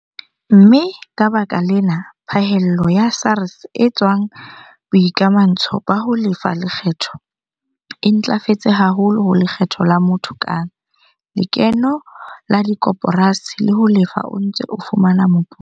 Mme ka lebaka lena phahello ya SARS e tswang boikamantsho ba ho lefa lekgetho e ntlafetse haholo ho lekgetho la motho kang, lekeno la dikoporasi le ho Lefa o Ntse o Fumana Moputso.